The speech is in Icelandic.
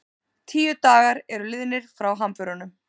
Tíu dagar eru liðnir frá hamförunum